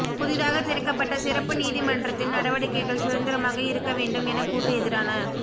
புதிதாக திறக்கப்பட்ட சிறப்பு நீதிமன்றத்தின் நடவடிக்கைகள் சுதந்திரமாக இருக்க வேண்டும் என கூட்டு எதிரண